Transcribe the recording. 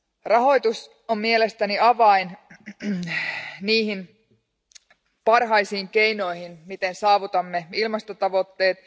Rahoitus on mielestäni avain niihin parhaisiin keinoihin, miten saavutamme ilmastotavoitteet.